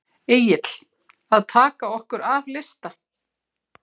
Egill: Að taka okkur af lista?